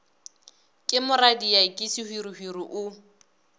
ke moradia ke sehwirihwiri o